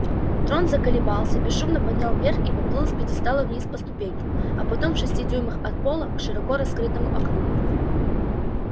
трон заколебался бесшумно поднял вверх и поплыл с пьедестала вниз по ступенькам а потом в шести дюймах от пола к широко раскрытому окну